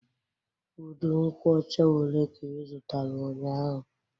Udu nkwocha ole ka ị zụtara ụnyaahụ?